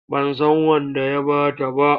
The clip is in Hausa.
Ban san wanda ya ba ta ba.